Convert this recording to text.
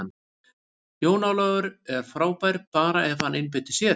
Jón Ólafur er frábær, bara ef hann einbeitir sér.